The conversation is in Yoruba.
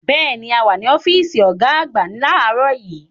Bẹ́ẹ̀ni, a wà ní ọ́fíìsì ọ̀gá àgbà láàárọ̀ yìí.